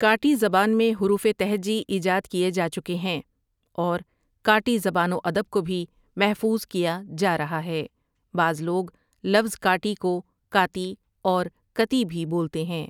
کاٹی زبان میں حروف تہجی ایجاد کیے جاچکے ہیں اور کاٹی زبان و ادب کو بھی محفوظ کیا جا رہا ہے بعض لوگ لفظ کاٹی کو کاتی اور کتی بھی بولتے ہیں۔